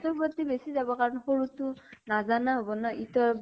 সৰু তোৰ প্ৰতি বেছি যাব কাৰণ সৰুতো নাজানা হʼব ন ? ইটো